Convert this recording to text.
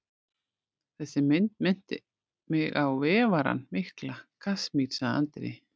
Þessi mynd minnti mig á Vefarann mikla frá Kasmír, sagði Andri.